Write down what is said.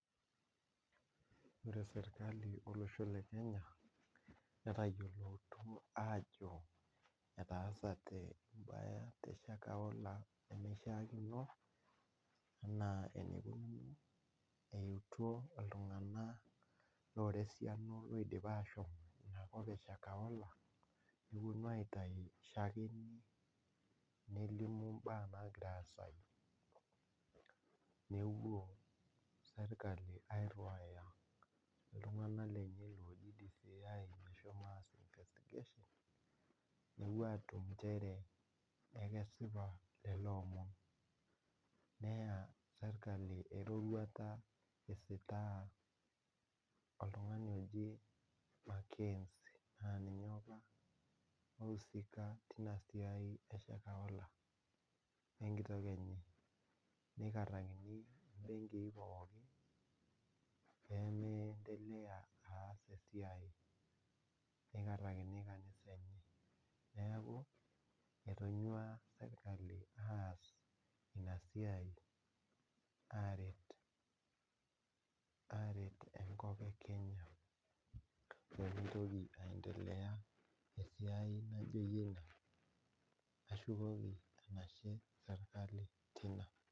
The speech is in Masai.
Ore sirkali olosho le kenya netayioloto aajo etaasate te shakohola inemeishaakino, naa iruto iltunganak loshomo olosho le shakohola. nelimu baa naagira aasayu, nepuo sirkali ainuay iltunganak lenye oshomo. nepuo atum nchere, ekesipa lelo omon. neya sirkali eroruata isitaaya oltungani oji mc enzie ninye oisuika teina siai e shakohola wenkitok enye. nikarakini pee meendelea aas esiai .neikarakini kanisa neeku etonyua sirkali aas Ina siai aaret enkop e Kenya naaendelesa. Tiaji